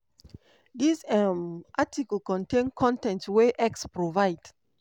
dis um article contain con ten t wey x provide.